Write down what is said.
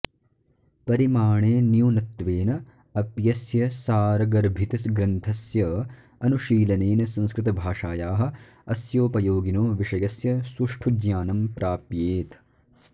परिमाणे न्यूनत्वेन अप्यस्य सारगर्भितग्रन्थस्य अनुशीलनेन संस्कृतभाषायाः अस्योपयोगिनो विषयस्य सुष्ठु ज्ञानं प्राप्येत